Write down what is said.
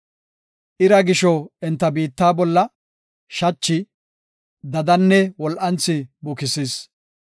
Ira gisho enta biitta bolla shachi, dadanne wol7anthi bukisis.